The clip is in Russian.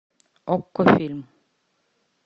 окко фильм